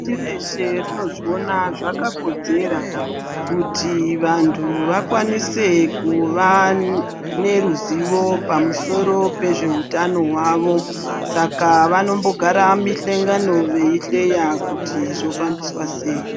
Bazi reshe rinozviona zvakakodzera kuti vantu vakwanise kuva neruzivo pamusoro pezvehutano hwavo Saka vanombogara mumuhlangano veihleya kuti zvofambiswa sei.